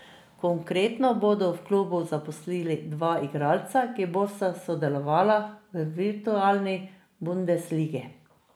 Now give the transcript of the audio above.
Konkretno bodo v klubu zaposlili dva igralca, ki bosta sodelovala v virtualni bundesligi.